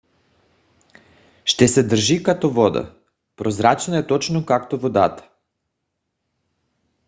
ще се държи като вода. прозрачна е точно както водата